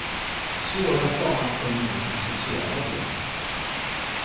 Svårast av allt är nog den sociala delen.